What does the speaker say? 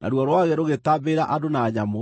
Naruo rwagĩ rũgĩtambĩrĩra andũ na nyamũ.